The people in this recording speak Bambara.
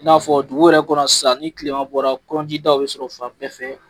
I n'a fɔ dugu yɛrɛ kɔnɔ sisan ni kilema bɔra bɛ sɔrɔ fan bɛɛ fɛ.